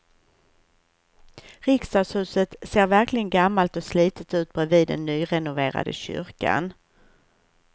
Riksdagshuset ser verkligen gammalt och slitet ut bredvid den nyrenoverade kyrkan.